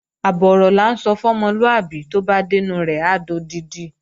Àbọ̀ ọ̀rọ̀ là ń sọ fún ọmọlúàbí, tó bá dẹ́nu rẹ̀ á dodidi